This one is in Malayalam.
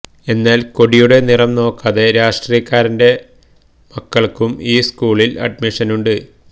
എന്നാൽ കൊടിയുടെ നിറം നോക്കാതെ രാഷ്ട്രീക്കാരന്റെ മക്കൾക്കും ഈ സ്കൂളിൽ അഡ്മിഷനുണ്ട്